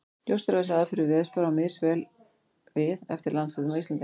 Ljóst er að þessi aðferð við veðurspár á misvel við eftir landshlutum á Íslandi.